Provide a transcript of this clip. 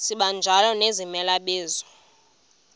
sibanjalo nezimela bizo